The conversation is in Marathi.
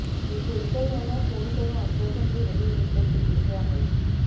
मी खोतकर यांना फोन करुन आश्वासन दिले हे वृत्त चुकीचे आहे